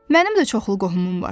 Mənim də çoxlu qohumum var.